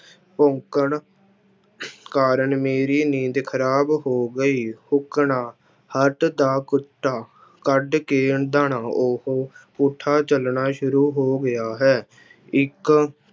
ਭੌਂਕਣ ਕਾਰਨ ਮੇਰੀ ਨੀਂਦ ਖ਼ਰਾਬ ਹੋ ਗਈ ਹੱਡ ਦਾ ਕੁੱਤਾ ਕੱਢ ਕੇ ਉਹ ਪੁੱਠਾ ਚੱਲਣਾ ਸ਼ੁਰੂ ਹੋ ਗਿਆ ਹੈ, ਇੱਕ